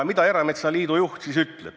Mida erametsaliidu juht siis ütleb?